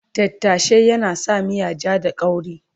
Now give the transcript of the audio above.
Tattashe yana sa miya ja da kauri